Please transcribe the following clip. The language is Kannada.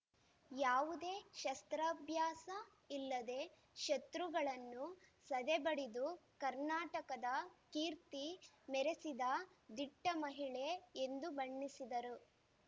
ಯಾವುದೇ ಶಸ್ತ್ರಾಭ್ಯಾಸ ಇಲ್ಲದೆ ಶತೃಗಳನ್ನು ಸದೆ ಬಡಿದು ಕರ್ನಾಟಕದ ಕೀರ್ತಿ ಮೆರೆಸಿದ ದಿಟ್ಟಮಹಿಳೆ ಎಂದು ಬಣ್ಣಿಸಿದರು